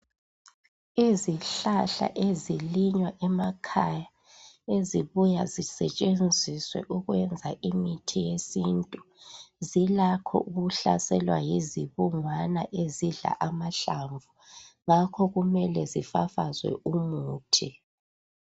Izihlahla ezilinywa emakhaya ezibuya zisetshenziswe ukwenza imithi yesintu, zilakho ukuhlaselwa yizibungwane ezidla amahlamvu ngakho kumele zifafazwe umuthi.